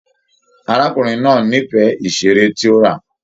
Arákùnrin náà n'ifẹ iṣere tí o rà.